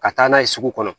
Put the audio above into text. Ka taa n'a ye sugu kɔnɔ